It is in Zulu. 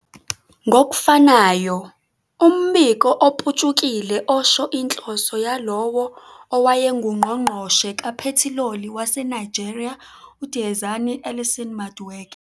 Ngokufanayo, umbiko oputshukile osho inhloso yalowo owayengungqongqoshe kaphethiloli waseNigeria uDiezani Alison-Madueke